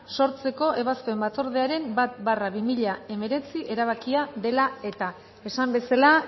sortzekoa ebazpen batzordearen bat barra bi mila hemeretzi erabakia dela eta esan bezala